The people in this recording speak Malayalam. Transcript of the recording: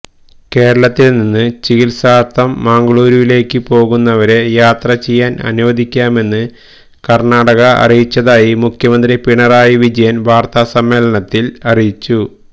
കേരളത്തില് നിന്ന് ചികിത്സാര്ത്ഥം മംഗളുരുവിലേക്ക് പോകുന്നവരെ യാത്ര ചെയ്യാന് അനുവദിക്കാമെന്ന് കര്ണാടക അറിയിച്ചതായി മുഖ്യമന്ത്രി പിണറായി വിജയന് വാര്ത്താസമ്മേളനത്തില് അറിയിച്ചു